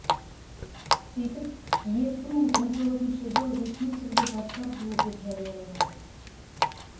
сөйтіп екі мың он тоғызыншы жыл ресми түрде жастар жылы деп жарияланды